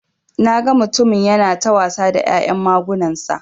Naga mutumin yana ta wasa da ya'yan magunansa.